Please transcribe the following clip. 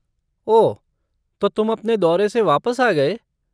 ओह, तो तुम अपने दौरे से वापस आ गए?